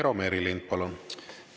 Eero Merilind, palun!